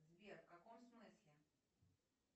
сбер в каком смысле